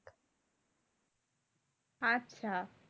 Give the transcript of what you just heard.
আচ্ছা